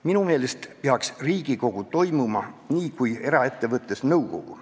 Minu meelest peaks Riigikogu toimima nii kui eraettevõtte nõukogu.